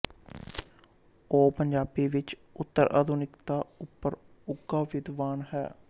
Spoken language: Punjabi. ਉਹ ਪੰਜਾਬੀ ਵਿੱਚ ਉੱਤਰ ਆਧੁਨਿਕਤਾ ਉੱਪਰ ਉੱਘਾ ਵਿਦਵਾਨ ਹੈ